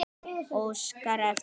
Óskari eftir.